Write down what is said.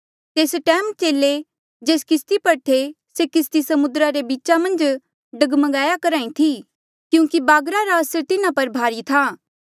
तेस टैम चेले जेस किस्ती पर थे से किस्ती समुद्रा रे बीच डगमगाया करहा ई थी क्यूंकि बागरा रा असर तिन्हा पर भारी था